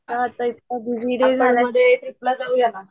नुसता busy day झालाय ना